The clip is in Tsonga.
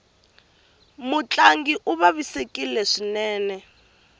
mutlangi u vavisekile swinene